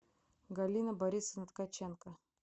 галина борисовна ткаченко